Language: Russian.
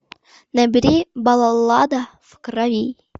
набери баллада в крови